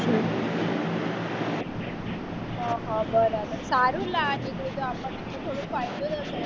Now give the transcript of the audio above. હ હ બરાબર સારું